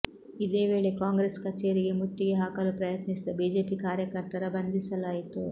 ಇದೇ ವೇಳೆ ಕಾಂಗ್ರೆಸ್ ಕಚೇರಿಗೆ ಮುತ್ತಿಗೆ ಹಾಕಲು ಪ್ರತ್ನಿಸಿದ ಬಿಜೆಪಿ ಕಾರ್ಯಕರ್ತರ ಬಂಧಿಸಲಾಯಿತು